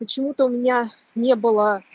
почему-то у меня не было